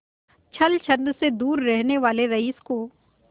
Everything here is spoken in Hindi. छल छंद से दूर रहने वाले रईस को